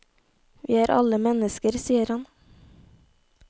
Vi er alle mennesker, sier han.